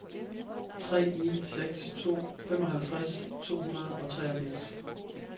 tre ni seks to femoghalvtreds to hundrede og treogfirs